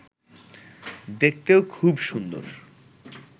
দেখতেও খুব সুন্দর